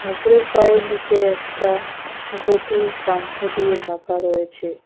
ঠাকুরের পায়ের নীচে একটা ঘটি গামছা দিয়ে ঢাকা রয়েছে।